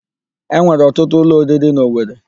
E nwere ọtụtụ ụlọ oriri n'Owere.